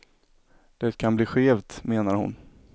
Det kan bli skevt, menar hon.